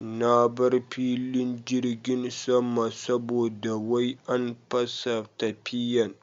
Na bar filin jirgin sama saboda wai an fasa tafiyan